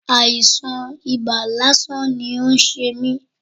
Àìsàn ibà lásán ni ó ń ṣe mí.